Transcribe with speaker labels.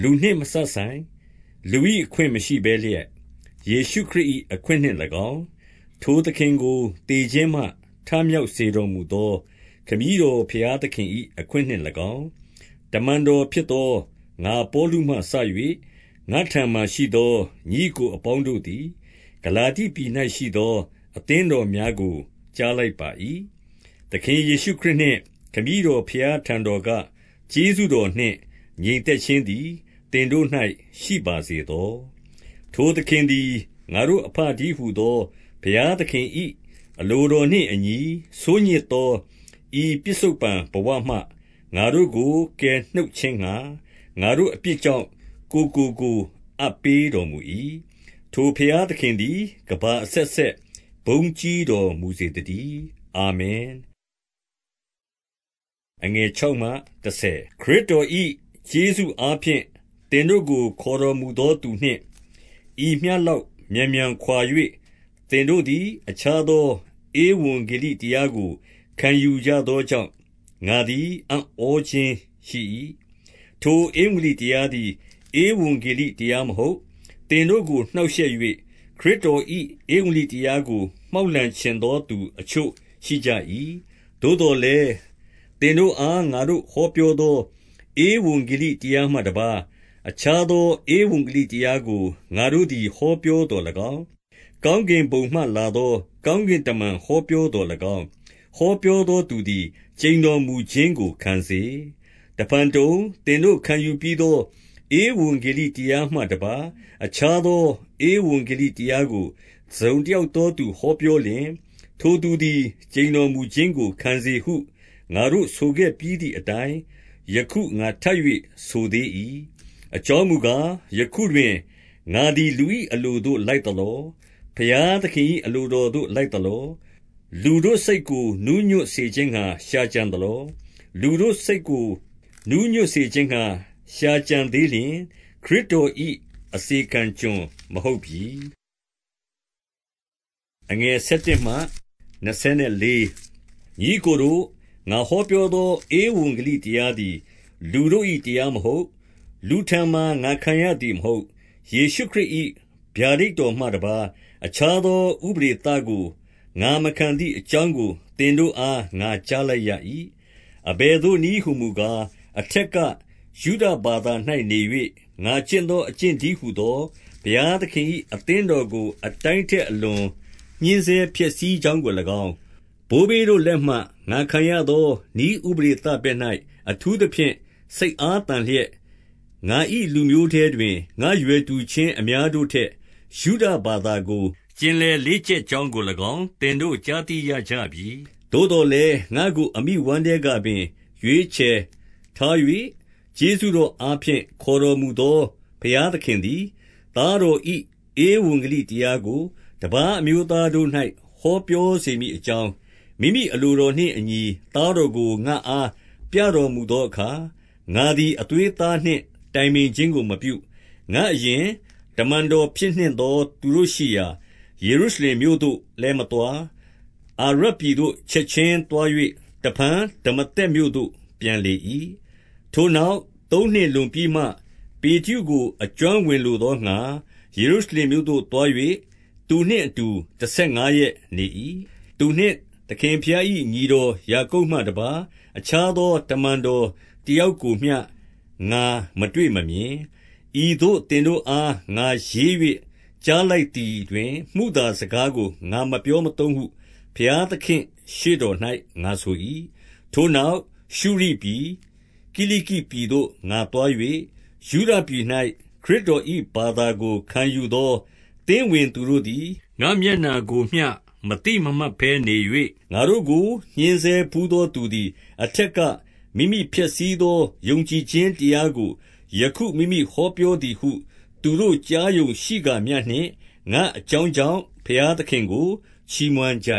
Speaker 1: လူနှင့်မစပ်ဆိုင်၊ လူ၏အခွင့်မရှိဘဲလျက်၊ ယေရှုခရစ်၏အခွင့်နှင့်၎င်း၊ ထိုသခင်ကို သေခြင်းမှ ထမြောက် စေတော်မူသော ခမည်းတော် ဘုရားသခင်၏ အခွင့်နှင့် ၎င်း၊ တမန်တော်ဖြစ်သောငါပေါလုမှစ၍၊ ငါ့ထံမှာရှိသော ညီအစ်ကိုအပေါင်းတို့သည် ဂလာတိပြည်၌ရှိသော အသင်းတော်များကို ကြားလိုက် ပါ၏။ သခင်ယေရှုခရစ်နှင့် ခမည်းတော်ဘုရားထံတော်က ကျေးဇူးတော်နှင့် ငြိမ်သက်ခြင်းသည် သင်တို့၌ ရှိပါစေသော။ ထိုသခင်သည် ငါတို့အဘတည်းဟူသော ဘုရားသခင်၏အလိုတော်နှင့်အညီ ဆိုးညစ်သော ဤပစ္စုပ္ပန် ဘဝမှ ငါတို့ကို ကယ်နှုတ်ခြင်းငှာ၊ ငါတို့အပြစ်ကြောင့် ကိုယ်ကို ကိုယ်အပ်ပေးတော်မူ၏။ ထိုဘုရားသခင်သည်ကမ္ဘာအဆက်ဆက် ဘုန်းကြီးတော်မူစေ သတည်း။ အာမင်။ ခရစ်တော်၏ ကျေးဇူးအားဖြင့် သင်တို့ကို ခေါ်တော်မူသောသူနှင့် ဤမျှလောက်မြန်မြန်ခွာ၍ သင်တို့သည်အခြားသော ဧဝံဂေလိတရားကို ခံယူကြရသောကြောင့် ငါသည်အံ့ဩခြင်းရှိ၏။ ထိုဧဝံဂေလိတရားသည် ဧဝံဂေလိတရားမဟုတ်။ သင်တို့ကို နှောက်ယှက်၍ ခရစ်တော်၏ ဧဝံ ဂေလိတရားကို မှောက်လှန်ချင်သောသူ အချို့ရှိကြ၏။ သို့သော်လည်း၊ သင်တို့အားငါဟောပြောသော ဧဝံဂေလိတရားမှတပါး အခြားသောဧဝံဂေလိတရားကို ငါတို့သည် ဟောပြောသော်၎င်း၊ ကောင်းကင်ဘုံမှလာသော ကောင်းကင်တမန်ဟောပြောသော်၎င်း၊ ဟောပြော သောသူသည် ကျိန်တော်မူခြင်းကိုခံစေ။ တဖန်တုံ၊ သင်တို့ခံယူပြီးသော ဧဝံဂေလိတရားမှတပါး အခြားသော ဧဝံဂေလိတရားကို တစုံ တယောက်သောသူဟောပြောလျှင်၊ ထိုသူသည် ကျိန်တော်မူခြင်းကို ခံစေဟု ငါတို့ဆိုခဲ့ပြီးသည်အတိုင်း ယခုငါထပ်၍ဆိုသေး၏။ အကြောင်းမူကား၊ ယခုတွင် ငါသည် လူတို့၏ အလိုသို့လိုက်သလော။ ဘုရားသခင်၏ အလိုတော်ကို လိုက်သလော။ လူတို့စိတ်ကို နူးညွတ်စေခြင်းငှါ ရှာကြသလော။ လူတို့စိတ်ကိုနူးညွတ်စေခြင်းငှါ ရှာကြံသေးလျှင်၊ ခရစ်တော်၏ အစေခံကျွန်မဟုတ်ပြီ။ ညီအစ်ကိုတို့၊ ငါဟောပြောသော ဧဝံဂေလိတရားသည် လူတို့၏တရားမဟုတ်။ လူထံမှာငါခံရသည်မဟုတ်။ ယေရှုခရစ်၏ ဗျာဒိတ်တော်မှတပါး အခြားသောဥပဒေသကို ငါမခံ သည်အကြောင်းကို သင်တို့အား ငါကြားလိုက်၏။ အဘယ်သို့နည်းဟူမူကား၊ အထက်က ယုဒဘာသာ၌နေ၍ ငါကျင့်သောအကျင့်သည်းဟူသော ဘုရားသင်၏အသင်းတော်ကို အတိုင်းထက်အလွန် ညှဉ်းဆဲဖျက်ဆီးကြောင်းကို၎င်း၊ ဘိုးဘေးတို့၏လက်မှ ငါခံရသောနည်း ဥပဒေသဘက်၌ အထူးသဖြင့်စိတ်အားသန်လျက်၊ ငါ၏ လူမျိုးထဲတွင် ငါ့ရွယ်တူချင်းအများတို့ထက် ယုဒဘာသာကိုကျင်လည်လေ့ကျက်ကြောင်းကို၎င်း သင်တို့ကြားသိ ကြရပြီ။ သို့သော်လည်း၊ ငါ့ကိုအမိဝမ်းထဲကပင် ရွေးချယ်ခွဲထား၍ ကျေးဇူးတော်အားဖြင့် ခေါ်တော်မူသော ဘုရား သခင်သည်၊ သားတော်၏ ဧဝံဂေလိတရားကို တပါးအမျိုးသားတို့၌ ဟောပြောစေမည်အကြောင်း၊ မိမိအလိုတော် နှင့်အညီသားတော်ကို ငါအားပြတော်မူသောအခါ၊ ငါသည်အသွေးအသားနှင့် တိုင်ပင်ခြင်းကိုမပြု။ ငါ့အရင်တမန်တော်ဖြစ်နှင့်သောသူတို့ရှိရာ ယေရုရှလင်မြို့ သို့လည်းမသွား၊ အာရပ်ပြည်သို့ ချက်ခြင်း သွား၍ တဖန်ဒမာသက်မြို့သို့ ပြန်လေ၏။ ထိုနောက်သုံးနှစ်လွန်ပြီးမှ ပေတရုကို အကျွမ်းဝင်လိုသောငှါ၊ ယေရုရှလင်မြို့သို့သွား၍ သူနှင့်အတူ တဆယ်ငါးရက်နေ၏။ သူနှင့်သခင်ဘုရား၏ညီတော် ယာကုပ်မှတပါး အခြားသော တမန်တော်တယောက်ကိုမျှ ငါမတွေ့မမြင်။ ဤသို့ သင်တို့အား ငါရေး၍ ကြားလိုက်သည် တွင် မုသာစကားကို ငါမပြောမသုံးဟု ဘုရားသခင်ရှေ့ တော်၌ငါဆို၏။ ထိုနောက်ရှုရိပြည်၊ ကိလိကိပြည်သို့ ငါသွား၍၊ ယုဒပြည်၌ခရစ်တော်၏ဘာသာကို ခံယူသော သင်းဝင်သူတို့သည် ငါ့မျက်နှာကိုမျှမသိမမှတ်ဘဲနေ၍၊ ငါတို့ကိုညှင်းဆဲဘူးသောသူသည် အထက်က မိမိဖျက်ဆီးသော ယုံကြည်ခြင်းတရားကို ယခု မိမိ ဟောပြောသည်ဟု သူတို့ကြားရုံရှိကာမျှနှင့်၊ ငါ့အကြောင်းကြောင့် ဘုရားသခင်ကို ချီးမွမ်းကြ